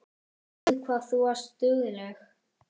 Guð hvað þú varst dugleg.